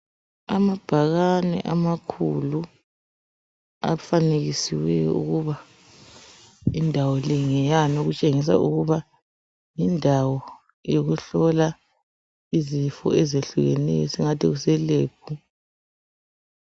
Amabhakane amakhulu afanekisiweyo ukuba indawo le ngeyani okutshengisa ukuba indawo yokuhlola izifo ezehlukeneyo esingathi kuselebhu.